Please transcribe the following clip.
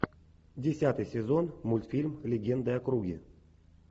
десятый сезон мультфильм легенды о круге